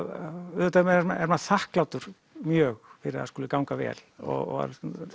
auðvitað er maður þakklátur mjög fyrir að það skuli ganga vel og